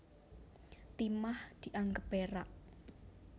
Timah dianggep perak